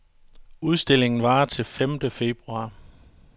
Udstillingen varer til femte februar.